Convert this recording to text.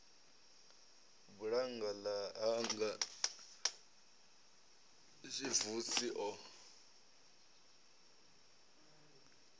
bulannga ḽa hanga xvusi o